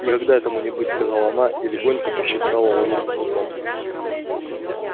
никогда этому не бывать сказала она и легонько пощекотала ладонь кнутом